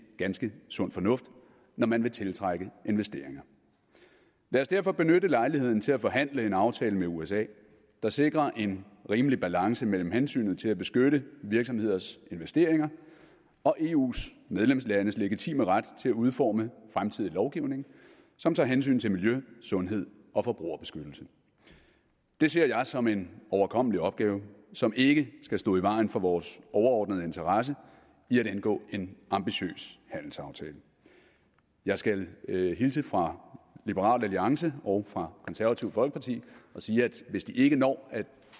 ganske sund fornuft når man vil tiltrække investeringer lad os derfor benytte lejligheden til at forhandle en aftale med usa der sikrer en rimelig balance mellem hensynet til at beskytte virksomheders investeringer og eus medlemslandes legitime ret til at udforme fremtidig lovgivning som tager hensyn til miljø sundhed og forbrugerbeskyttelse det ser jeg som en overkommelig opgave som ikke skal stå i vejen for vores overordnede interesse i at indgå en ambitiøs handelsaftale jeg skal hilse fra liberal alliance og fra konservative folkeparti og sige at hvis de ikke når at